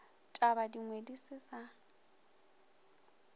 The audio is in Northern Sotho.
taba dingwe di se sa